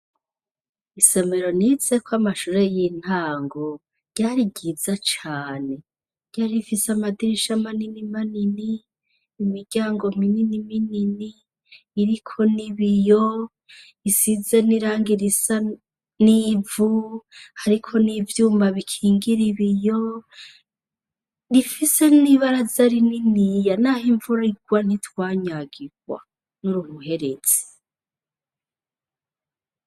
Isomero nizeko amashure y'intango ryari ryiza cane, ryarifise amadirisha manini manini, imiryango minini minini, iriko n'i biyo isiza n'iranga irisa n'ivu, ariko n'ivyuma bikingira ibiyo rifise n'ibara zari nini ya, naho imvurirwa n'itwanyagirwa n'ururuherezi.